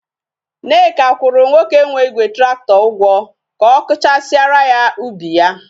Nneka kwuru nwoke nwe Igwe tractor Ugwo ka okuchasiara ya ubi ya